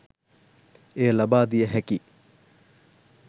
එය ලබා දිය හැකි